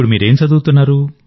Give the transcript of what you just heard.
మీరేం చదువుతున్నారు